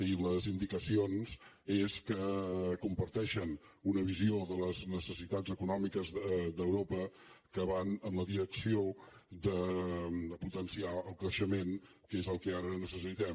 i les indicacions són que comparteixen una visió de les necessitats econòmiques d’europa que va en la direcció de potenciar el creixement que és el que ara necessitem